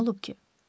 Nə olub ki?